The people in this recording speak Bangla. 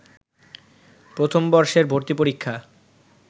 প্রথম বর্ষের ভর্তিপরীক্ষা